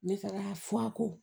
Ne taara fu a ko